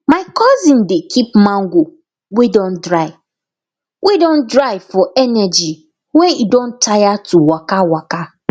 my cousin dey keep mango wey don dry wey don dry for energy when e don tire to dey waka waka